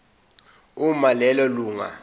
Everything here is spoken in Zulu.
uma lelo lunga